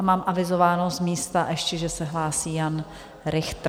A mám avizováno z místa ještě, že se hlásí Jan Richter.